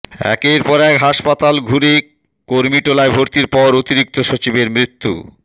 একের পর এক হাসপাতাল ঘুরে কুর্মিটোলায় ভর্তির পর অতিরিক্ত সচিবের মৃত্যু